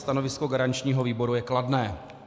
Stanovisko garančního výboru je kladné.